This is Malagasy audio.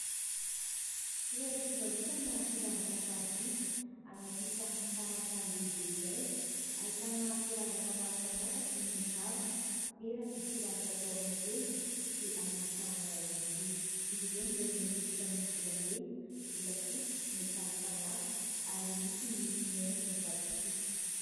Toeram-pivarotana firavaka sarobidy anaty trano fitaratra lehibe iray ahitana firavaka maro samihafa toy ny kavina, peratra, firavaka atao amin'ny tenda sy amin'ny tanana ihany koa ; izy ireny dia mety ho vita amin'ny volamena, volafotsy, metaly samihafa ary misy ny mihaingo vatosoa.